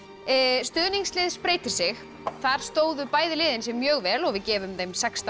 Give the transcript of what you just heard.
stuðningslið spreytir sig þar stóðu bæði liðið sig mjög vel og við gefum þeim sextán